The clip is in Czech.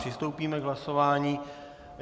Přistoupíme k hlasování.